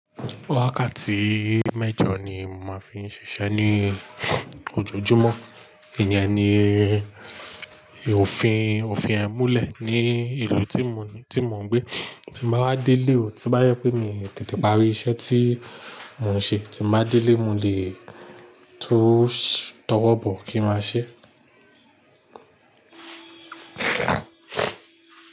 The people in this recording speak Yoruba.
Wákàtí mẹ́jọ ni mo máa ń fi ń ṣiṣẹ́ ní ojojúmọ́. Ìyẹn ni òfin, òfin e mùlẹ̀ ní ìlú tí mo ní, tí mo ń gbé. Ti máa wa délé o, tí bá yẹ pé mi tètè parí iṣẹ́ tí mo ń ṣe, tí m ba délé mo lè tún tọwọ́ bọ̀ kí máa ṣe.